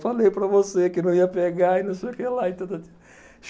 Falei para você que não ia pegar e não sei o que lá e.